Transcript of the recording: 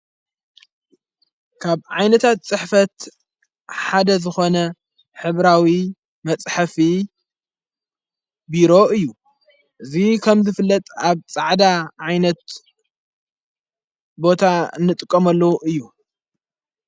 ካብ ዓይነታት ጽሕፈት ሓደ ዝኾነ ኅብራዊ መጽሕፊ ቢሮ እዩ እዙይ ከም ዘፍለጥ ኣብ ጻዕዳ ዓይነት ቦታ ንጥቆመሉ እዩ።